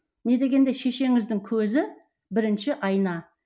не дегенде шешеңіздің көзі бірінші айна